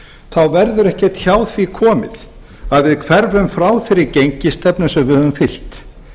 þá verður ekki hjá því komist að við hverfum frá þeirri gengisstefnu sem við höfum fylgt